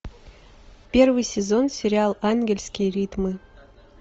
первый сезон сериал ангельские ритмы